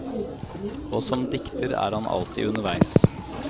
Og som dikter er han alltid underveis.